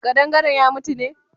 Kadangaren ya mutu ne?